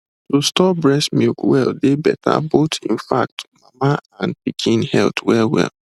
to store breast milk well dey better both in fact mama and pikin health wellwell